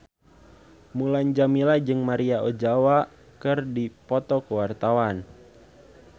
Mulan Jameela jeung Maria Ozawa keur dipoto ku wartawan